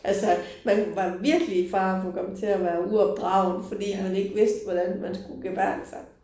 Altså man var virkelig i fare for at komme til at være uopdragen fordi man ikke vidste hvordan man skulle gebærde sig